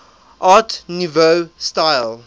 art nouveau style